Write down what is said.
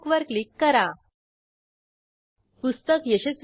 येथे रिक्वेस्ट मधे return book attribute set केले आहे